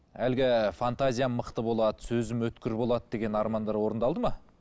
әлгі фантазиям мықты болады сөзім өткір болады деген армандар орындалды ма